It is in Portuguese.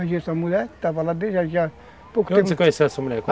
Aí tinha essa mulher que estava lá desde já... De onde você conheceu essa mulher?